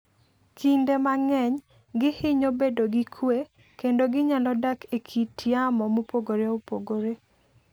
Kinde mang'eny, gihinyo bedo gi kuwe kendo ginyalo dak e kit yamo mopogore opogore